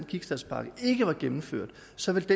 som et